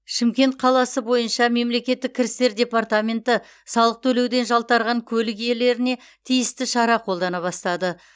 шымкент қаласы бойынша мемлекеттік кірістер департаменті салық төлеуден жалтарған көлік иелеріне тиісті шара қолдана бастады